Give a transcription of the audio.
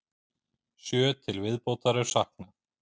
Sjö til viðbótar er saknað.